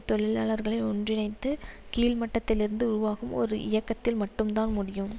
தொழிலாளர்களை ஒன்றிணைத்து கீழ்மட்டத்திலிருந்து உருவாகும் ஒரு இயக்கத்தில் மட்டும்தான் முடியும்